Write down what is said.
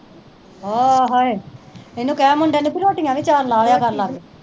ਆਹ ਹਾਏ ਇਹਨੂੰ ਕਹਿ ਮੁੰਡੇ ਨੂੰ ਵੀ ਰੋਟੀਆਂ ਵੀ ਚਾਰ ਲਾ ਦਿਆ ਕਰ